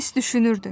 S düşünürdü.